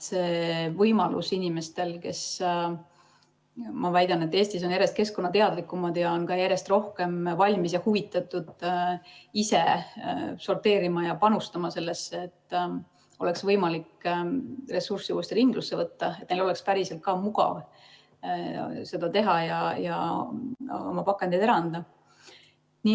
Inimestel, kes, ma väidan, on Eestis järjest keskkonnateadlikumad ja ka järjest rohkem valmis ise sorteerima ja on huvitatud sellesse panustamisest, et oleks võimalik ressurssi uuesti ringlusse võtta, peaks olema päriselt ka mugav seda teha ja oma pakendeid ära anda.